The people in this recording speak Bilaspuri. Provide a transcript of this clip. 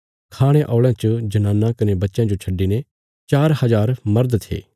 खाणे औल़यां च जनानां कने बच्चयां जो छड्डिने चार हजार मर्द थे